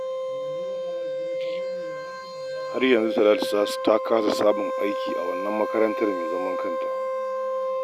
Har yanzu Talatu ta kasa samun aiki a wannan makarantar mai zaman kanta